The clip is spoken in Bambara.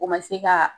O ma se ka